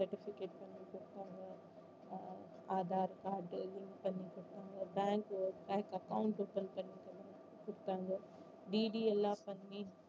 certificate பண்ணி கொடுத்தாங்க Aadhaar card link பண்ணி கொடுத்தாங்க bank உ bank account open பண்ணி கொடுத்தாங்க DD எல்லாம் பண்ணி